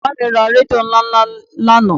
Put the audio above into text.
Bàbá mi ra rédíò ńláńlá lánàá